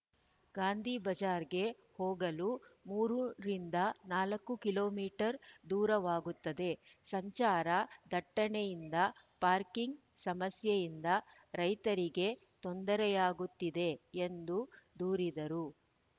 ಗಾಂಧಿಬಜಾರ್‌ಗೆ ಹೋಗಲು ಮೂರ ರಿಂದ ನಾಲ್ಕು ಕಿಲೋ ಮೀಟರ್ ದೂರವಾಗುತ್ತದೆ ಸಂಚಾರ ದಟ್ಟಣೆಯಿಂದ ಪಾರ್ಕಿಂಗ್‌ ಸಮಸ್ಯೆಯಿಂದ ರೈತರಿಗೆ ತೊಂದರೆಯಾಗುತ್ತದೆ ಎಂದು ದೂರಿದರು